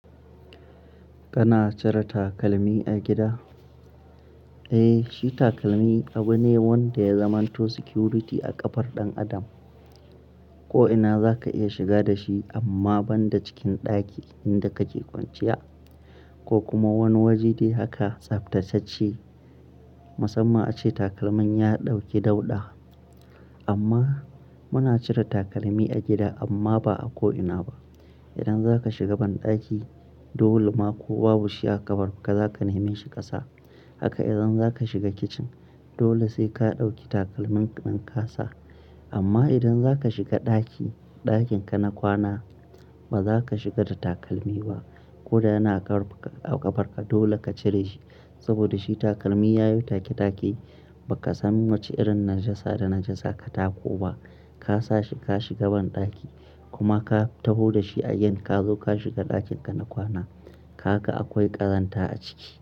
Kana cire takalmi a gida? Eh, shi takalmi abu ne wanda ya zamanto security a ƙafar ɗan adam. Ko'ina zaka iya shiga da shi amma banda cikin ɗaki inda kake kwanciya ko kuma wani waje dai haka tsaftatacce. Musamman ace takalmin ya ɗauki dauɗa. Amma muna cire takalmi a gida amma ba a ko'ina ba. Idan zaka shiga banɗaki dole ma ko babu shi a ƙafar ka, zaka neme shi kasa. Haka idan zaka shiga kicin, dole sai ka ɗauki takalmin ka kasa. Amma idan zaka shiga ɗaki, ɗakin ka na kwana bazaka shiga da takalmi ba. Koda yana a ƙafar ka dole ka cire shi. Saboda shi takalmi ya yi take-take ba ka san wace irin najasa da najasa ka tako ba. Ka sa shi ka shiga banɗaki kuma ka taho da shi again ka zo ka shiga ɗakin ka na kwana. Kaga akwai ƙazanta a ciki.